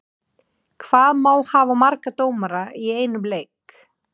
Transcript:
Hvað má hafa marga dómara í einum leik?